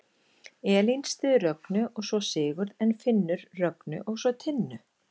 Elín styður Rögnu og svo Sigurð en Finnur Rögnu og svo Tinnu.